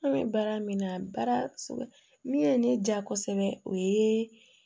An bɛ baara min na baara sɛgɛn min ye ne diya kosɛbɛ o ye